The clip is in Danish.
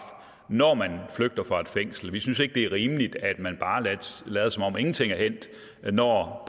når man flygter fra et fængsel vi synes ikke det er rimeligt at man bare lader som om ingenting er hændt når